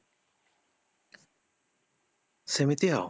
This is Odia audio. ସେମିତି ଆଉ